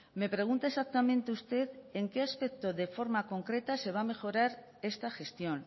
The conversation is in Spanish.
me pregunta exactamente usted en qué aspecto de forma concreta se va a mejorar esta gestión